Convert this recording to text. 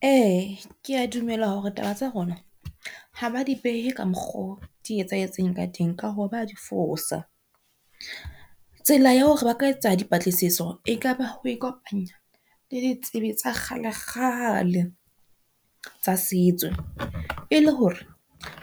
E, ke a dumela hore taba tsa rona ha ba di behe ka mokgoo di etsahetseng ka teng ka hoo ba di fosa. Tsela ya hore ba ka etsa dipatlisiso e kaba ho ikopanya le ditsebi tsa kgale kgale tsa setso. E le hore